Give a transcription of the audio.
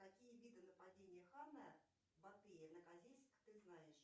какие виды нападения хана батыя на козельск ты знаешь